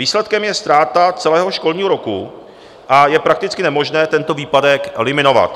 Výsledkem je ztráta celého školního roku a je prakticky nemožné tento výpadek eliminovat.